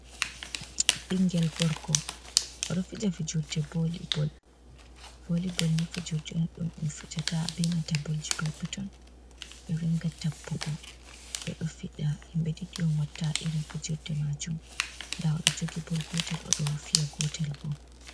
bingel gorgo odo fija fijirde voli boll. voli boll ne fijurde on dum be fijata be nanta bolji petton petton. Be ringa tabbugo be do fija himbe didi un fiata irin fijurde majum da odo jogi boll gotel odo fi’a gotel bo.